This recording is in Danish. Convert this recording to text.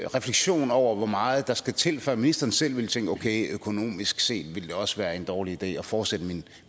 refleksion over hvor meget der skal til før ministeren selv ville tænke at okay økonomisk set ville det også være en dårlig idé at fortsætte